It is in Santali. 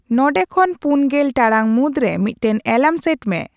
ᱱᱚᱰᱮᱠᱷᱚᱱ ᱯᱩᱱ ᱜᱮᱞ ᱴᱟᱲᱟᱝ ᱢᱩᱫᱨᱮ ᱢᱤᱫᱴᱟᱝ ᱮᱞᱟᱨᱢ ᱥᱮᱴ ᱢᱮ